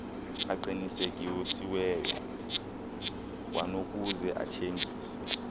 aqinisekisiweyo kwanokuze athengise